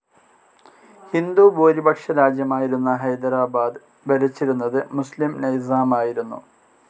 ഹിന്ദുഭൂരിപക്ഷ രാജ്യമായിരുന്ന ഹൈദരാബാദ് ഭരിച്ചിരുന്നത് മുസ്‌ലിം നൈസാമായിരുന്നു.